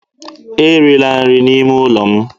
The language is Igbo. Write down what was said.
erila nri n'ime ụlọ m